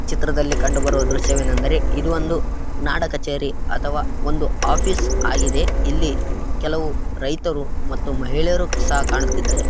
ಈ ಚಿತ್ರದಲ್ಲಿ ಕಂಡು ಬರುವ ದೃಶ್ಯವೆನೆಂದರೆ ಇದು ಒಂದು ನಾಡ ಕಛೇರಿ ಅಥವಾ ಒಂದು ಆಫೀಸ್‌ ಆಗಿದೆ. ಇಲ್ಲಿ ಕೆಲವು ರೈತರು ಮತ್ತು ಮಹಿಳೆಯರು ಸಹಾ ಕಾನು ತಿದ್ದಾವೆ ಇದೆ.